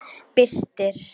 Birtir